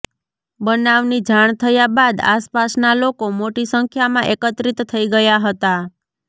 બનાવની જાણ થયા બાદ આસપાસના લોકો મોટી સંખ્યામાં એકત્રિત થઇ ગયા હતા